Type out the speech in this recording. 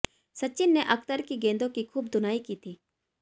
सचिन ने अख्तर की गेंदों की खूब धुनाई की थी